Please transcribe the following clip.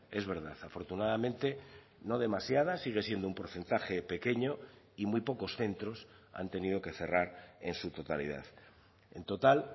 es verdad afortunadamente no demasiadas sigue siendo un porcentaje pequeño y muy pocos centros han tenido que cerrar en su totalidad en total